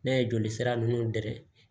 N'a ye joli sira nunnu dɛ